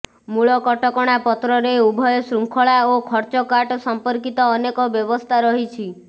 ମୂଳ କଟକଣା ପତ୍ରରେ ଉଭୟ ଶୃଙ୍ଖଳା ଓ ଖର୍ଚ୍ଚକାଟ ସଂପର୍କିତ ଅନେକ ବ୍ୟବସ୍ଥା ରହିଛି